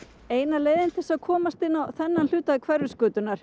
eina leiðin til þess að komast inn á þennan hluta